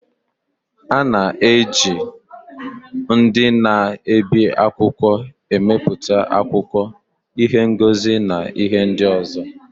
A na-eji ndị na-ebi akwụkwọ emepụta akwụkwọ, ihe ngosi, na ihe ndị ọzọ.